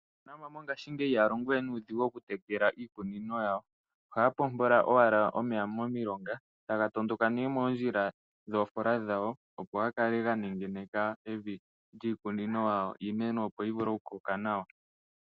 Aanafalama mongashingeyi ihaya longo we nuudhigu okutekela iikunino yawo, ohaa pompola owala omeya momilonga taga tondoka ne moondjila dhoofoola dhawo, opo gakale ganengeneka evi lyiikunino, iimeno opo yivule okukoka nawa.